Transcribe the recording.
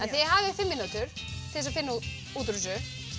þið hafið fimm mínútur til þess að finna út úr þessu